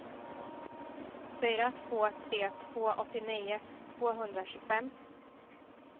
fyra två tre två åttionio tvåhundratjugofem